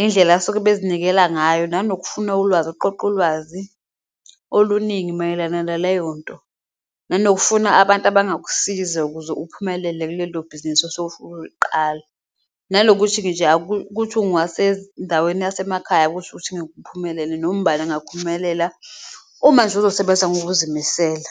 indlela asuke bezinikela ngayo nanokufuna ulwazi, ukuqoqa ulwazi oluningi mayelana naleyo nto nanokufuna abantu abangakusiza ukuze uphumelele kulelo bhizinisi osuke ufuna ukuliqala. Nalokuthi nje ukuthi uwasendaweni yasemakhaya ukusho ukuthi angeke uphumelele noma ubani angaphumelela uma nje uzosebenza ngokuzimisela.